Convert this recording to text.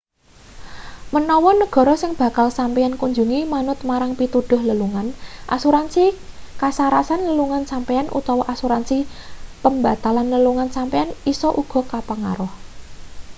menawa negara sing bakal sampeyan kunjungi manut marang pituduh lelungan asuransi kasarasan lelungan sampeyan utawa asuransi pembatalan lelungan sampeyan isa uga kepengaruh